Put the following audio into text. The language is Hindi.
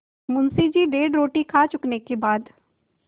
मुंशी जी डेढ़ रोटी खा चुकने के बाद